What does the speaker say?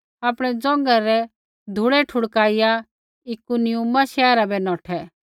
तैबै बरनबास होर शाऊल तिन्हां सामनै आपणी ज़ोंघै रै धूड़ै ठुड़किआ इकुनियुमा शैहरा बै नौठै